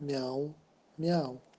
мяу-мяу